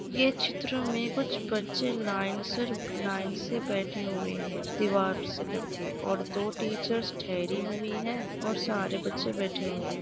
ये चित्र में कुछ बच्चे लाइन सर लाइन से बैठे हुए हैं दीवार से लग कर और दो टीचर्स ठहरी हुई हैं और सारे बच्चे बैठे हुए हैं।